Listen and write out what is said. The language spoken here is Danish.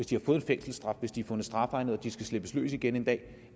de har fået en fængselsstraf hvis de er fundet strafegnet og de skal slippes løs igen en dag